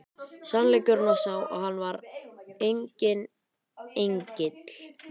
Sannleikurinn var sá að hann var enginn engill!